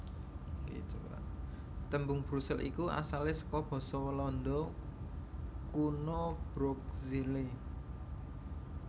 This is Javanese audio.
Tembung Brusel iku asalé saka basa Walanda Kuna Broekzele